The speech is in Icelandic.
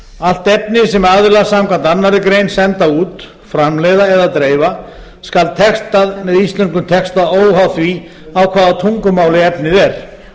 allt efni sem aðilar samkvæmt annarri grein senda út framleiða eða dreifa skal textað með íslenskum texta óháð því á hvaða tungumáli efnið er